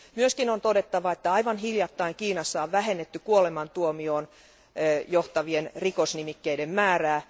On myös todettava, että aivan hiljattain Kiinassa on vähennetty kuolemantuomioon johtavien rikosnimikkeiden määrää.